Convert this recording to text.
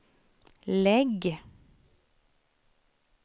lägg